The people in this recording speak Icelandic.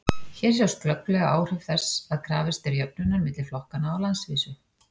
Hér sjást glögglega áhrif þess að krafist er jöfnunar milli flokkanna á landsvísu.